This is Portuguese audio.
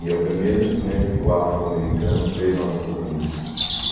E é o primeiro instrumento que o afro-americano fez lá nos Estados Unidos.